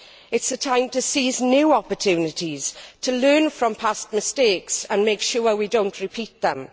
it is a time to seize new opportunities, to learn from past mistakes and make sure that we do not repeat them.